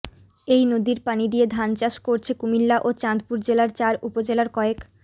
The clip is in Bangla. এই নদীর পানি দিয়ে ধান চাষ করছে কুমিল্লা ও চাঁদপুর জেলার চার উপজেলার কয়েক